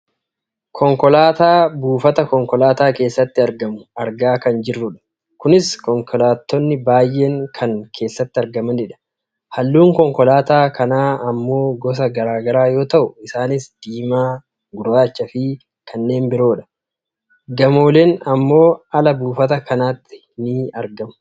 konkolaataa buufata konkolaataa keessatti argamu argaa kan jirrudha. kunis konkolaattonni baayyeen kan keessatti argamanidha. halluun konkolaataa kanaa ammoo gosa gara garaa yoo ta'u isaanis diimaa, gurraachaafi kanneen biroodha. gamooleen ammoo ala buufata kanaatti ni argamu.